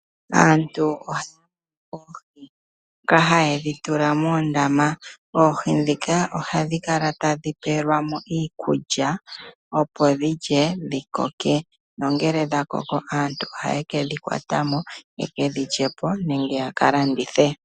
Aantu ohaya kwata oohi, ndhoka haye dhi tula moondama. Oohi ndhika ohadhi kala tadhi pelwa mo iikulya, opo dhilye, dhikoke. Nongele dhakoko aantu ohaye kedhi kwata mo, yeke dhi lye po, nenge yaka landithe.